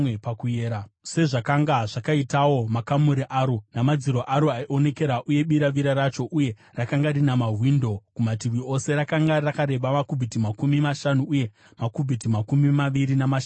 sezvakanga zvakaitawo makamuri aro, namadziro aro aionekera uye biravira racho, uye rakanga rina mawindo kumativi ose. Rakanga rakareba makubhiti makumi mashanu uye makubhiti makumi maviri namashanu paupamhi.